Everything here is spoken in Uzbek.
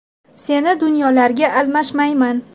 Seni dunyolarga almashmayman.